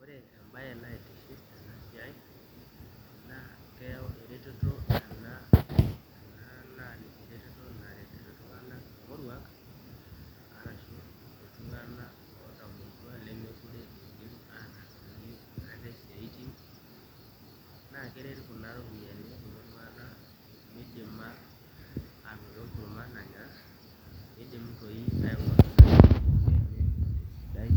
Ore embaye naitiship tene siai naa keyau eretoto naretito iltung'anak morruak lemeekure iidimataasake ate isaitin naa keret kuna ropiyiani kulo tung'anak midima aanoto enkurma nanya pee